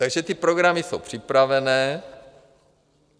Takže ty programy jsou připravené.